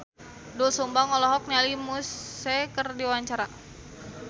Doel Sumbang olohok ningali Muse keur diwawancara